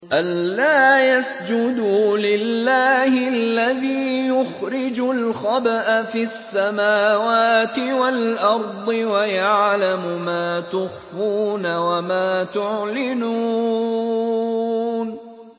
أَلَّا يَسْجُدُوا لِلَّهِ الَّذِي يُخْرِجُ الْخَبْءَ فِي السَّمَاوَاتِ وَالْأَرْضِ وَيَعْلَمُ مَا تُخْفُونَ وَمَا تُعْلِنُونَ